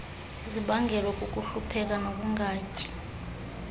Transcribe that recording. zibangelwa kukuhlupheka nokungatyi